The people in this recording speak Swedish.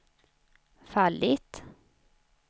fallit